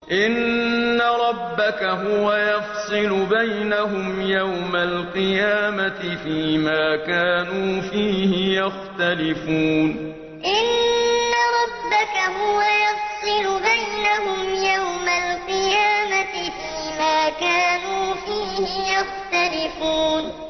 إِنَّ رَبَّكَ هُوَ يَفْصِلُ بَيْنَهُمْ يَوْمَ الْقِيَامَةِ فِيمَا كَانُوا فِيهِ يَخْتَلِفُونَ إِنَّ رَبَّكَ هُوَ يَفْصِلُ بَيْنَهُمْ يَوْمَ الْقِيَامَةِ فِيمَا كَانُوا فِيهِ يَخْتَلِفُونَ